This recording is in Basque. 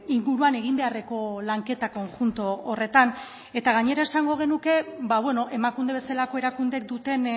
inguruan egin beharreko lanketa konjunto horretan eta gainera esango genuke emakunde bezalako erakundeek duten